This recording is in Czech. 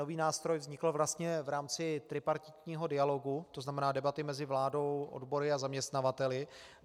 Nový nástroj vznikl vlastně v rámci tripartitního dialogu, to znamená debaty mezi vládou, odbory a zaměstnavateli.